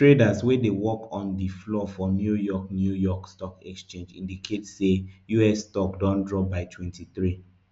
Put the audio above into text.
traders wey dey work on di floor for new york new york stock exchange indicate say us stock don drop by twenty-three